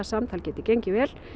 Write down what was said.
samtal geti gengið vel